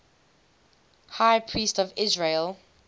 high priests of israel